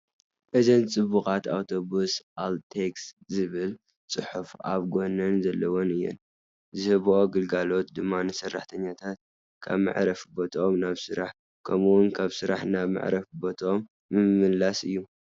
እዘን ፅቡቓት ኣውቶቡስ ALTEX ዝብል ፅሑፍ ኣብ ጐነን ዘለወን እየን፡፡ ዝህብኦ ግልጋሎት ድማ ንሰራሕተኛታት ካብ መዕረፊ ቦትኦም ናብ ስራሕ ከምኡውን ካብ ስራሕ ናብ መዕረፊ ቦትኦም ምምልላስ እዩ፡፡